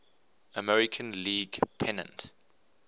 american league pennant